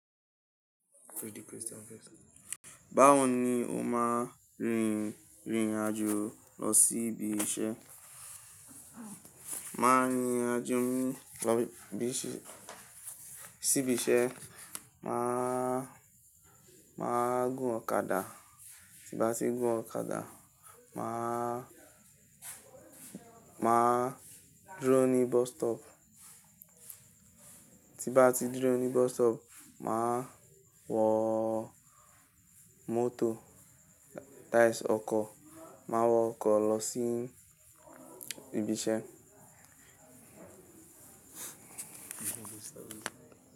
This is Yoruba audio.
Báwo ni o máa rìnrìn àjò lọ sí ibi iṣẹ́? Mán rìnrìn àjò mi lọ sí ibi iṣẹ́, mà á gun ọ̀kadà, tí n bá ti gun ọ̀kadà, mà á, mà á dúró ní bus stop. Tí n bá ti dúró ní bus stop, mà á wọ mọ́tò táìsì ọkọ̀, mà á wọ ọkọ̀ lọ sí ibi iṣẹ́.